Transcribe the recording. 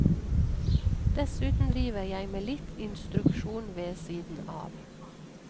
Dessuten driver jeg med litt instruksjon ved siden av.